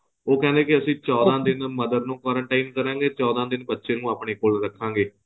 ਉਹ ਕਹਿੰਦੇ ਕੇ ਅਸੀਂ ਚੋਦਾਂ ਦਿਨ mother ਨੂੰ quarantine ਕਰਾਂਗੇ ਚੋਦਾਂ ਦਿਨ ਬੱਚੇ ਨੂੰ ਆਪਨੇ ਕੋਲ ਰੱਖਾਂਗੇ